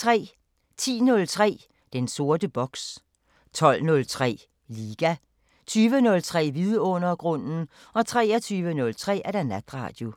10:03: Den sorte boks 12:03: Liga 20:03: Vidundergrunden 23:03: Natradio